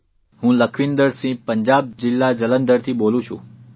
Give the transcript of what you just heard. હું લખવિંદરસિંહ પંજાબ જિલ્લા જલંધરથી બોલું છું